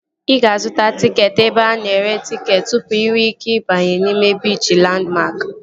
Ị ga-azụta tịketị ebe ana ere tịketị tụpụ inwe ike ịbanye n'ime biichi Landmark